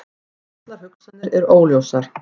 Allar hugsanir eru óljósar.